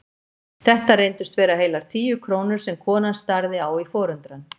Þetta reyndust vera heilar tíu krónur sem konan starði á í forundran.